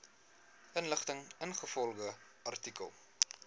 inligting ingevolge artikel